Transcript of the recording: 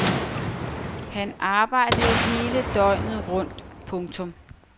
Han arbejdede hele døgnet rundt. punktum